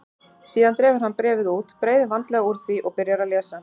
Síðan dregur hann bréfið út, breiðir vandlega úr því og byrjar að lesa.